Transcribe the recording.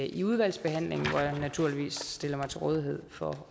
i udvalgsbehandlingen hvor jeg naturligvis stiller mig til rådighed for